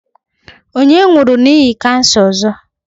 Onye nwuru n'ihi kansa ozo?